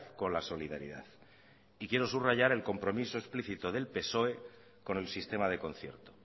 con la solidaridad y quiero subrayar el compromiso explícito del psoe con el sistema de concierto